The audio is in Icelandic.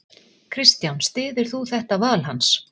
Kristján: Styður þú þetta val hans?